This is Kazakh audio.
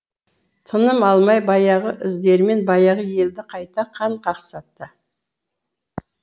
тыным алмай баяғы іздерімен баяғы елді қайта қан қақсатты